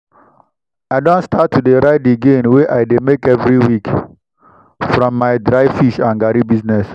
i don start to dey write the gain wey i dey make every week from my dry fish and garri business.